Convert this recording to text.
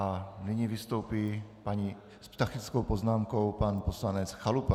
A nyní vystoupí s faktickou poznámkou pan poslanec Chalupa.